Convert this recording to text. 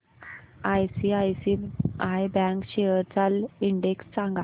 ICICI bank shares चा index सांगा